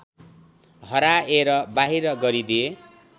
हराएर बाहिर गरिदिए